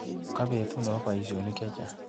Kobetut nebo baishonik chechang.